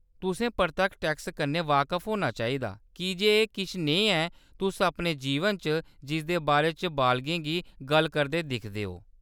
तुसें परतक्ख टैक्सें कन्नै बाकफ होना चाहिदा कीजे एह्‌‌ किश नेहा ऐ तुस अपने जीवन च जिसदे बारे च बालगें गी गल्ल करदे दिखदे ओ।